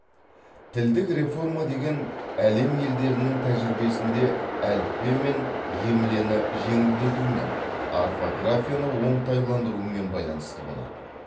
тілдік реформа деген әлем елдерінің тәжірибесінде әліппе мен емлені жеңілдетумен орфографияны оңтайландырумен байланысты болады